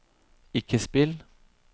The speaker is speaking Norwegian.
ikke spill